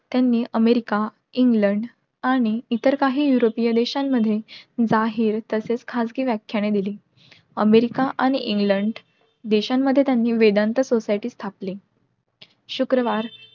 त्यांनी America England आणि इत्तर काही युरोपीय देशांमध्ये जाहीर तसेच खाजगी व्याखयाने दिली. अमेरिका आणि इंगलंड देश्यांमध्ये त्यांनी वेदांत society स्थापिली. शुक्रवार